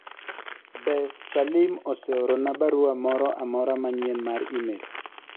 be Salim oseorona barua moro amora manyien mar email